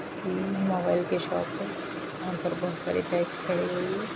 ये मोबाइल की शॉप है वहाँ पर बहुत सारे बाइक्स खड़ी हुई है।